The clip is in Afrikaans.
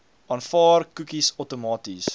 aanvaar koekies outomaties